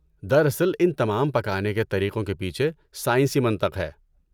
دراصل ان تمام پکانے کے طریقوں کے پیچھے سائنسی منطق ہے۔